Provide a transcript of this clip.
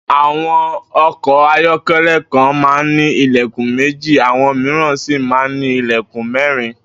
Àwo̩n o̩kò̩ ayó̩ké̩lé̩ kan máa ń ní ilè̩kùn méjì, àwo̩n mìíràn sì máa ń ní ilè̩kùn mé̩rin